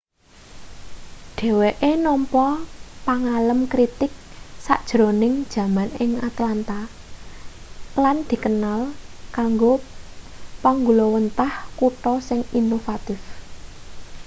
dheweke nampa pangalem kritig sajrone jaman ing atlanta lan dikenal kanggo panggulawenthah kutha sing inovatif